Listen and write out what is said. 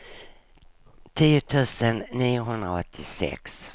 tio tusen niohundraåttiosex